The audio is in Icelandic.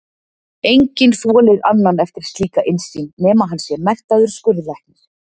Enginn þolir annan eftir slíka innsýn, nema hann sé menntaður skurðlæknir.